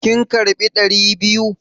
Kin karbi ɗari biyu?